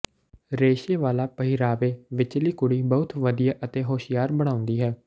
ਰੇਸ਼ੇ ਵਾਲਾ ਪਹਿਰਾਵੇ ਵਿਚਲੀ ਕੁੜੀ ਬਹੁਤ ਵਧੀਆ ਅਤੇ ਹੁਸ਼ਿਆਰ ਬਣਾਉਂਦੀ ਹੈ